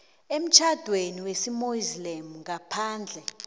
emtjhadweni wesimuslimu ngaphandle